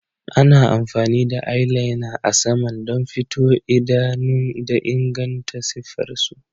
Ana amfani da eyeliner a saman don fito idanu da inganta siffar su.